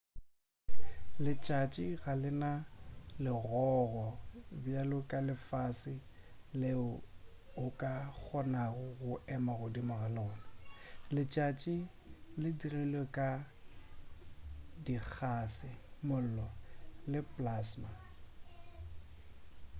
letšatši ga le na legogo bjalo ka lefase leo o ka kgonago go ema godimo ga lona letšatši le dirilwe ka dikgase mollo le plasma